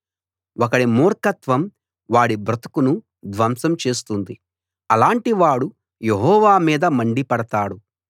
ఒకడి మూర్ఖత్వం వాడి బ్రతుకును ధ్వంసం చేస్తుంది అలాటి వాడు యెహోవా మీద మండిపడతాడు